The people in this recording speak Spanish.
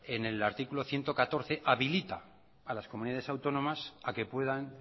en el artículo ciento catorce habilita a las comunidades autónomas a que puedan